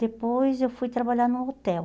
Depois eu fui trabalhar num hotel.